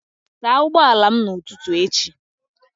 Saa ụgbọala m n'ụtụtụ echi!